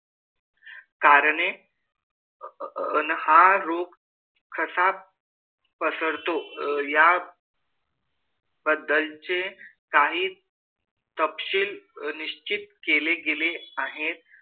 कारणे. अन हा रोग कसा पसरतो या बद्दलचे काही तपशील निश्चित केले गेले आहेत.